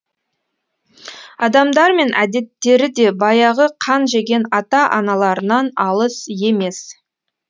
адамдар мен әдеттері де баяғы қан жеген ата аналарынан алыс емес